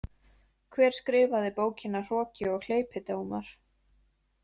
Hver skrifaði bókina Hroki og hleypidómar?